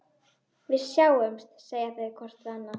Við sjáumst, segja þau hvort við annað.